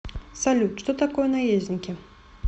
салют что такое наездники